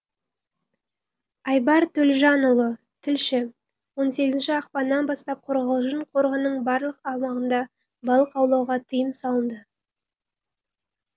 айбар төлжанұлы тілші он сегізінші ақпаннан бастап қорғалжын қорығының барлық аумағында балық аулауға тыйым салынды